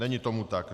Není tomu tak.